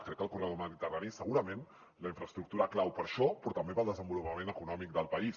crec que el corredor mediterrani és segurament la infraestructura clau per a això però també per al desenvolupament econòmic del país